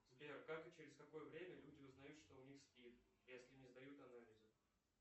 сбер как и через какое время люди узнают что у них спид если не сдают анализы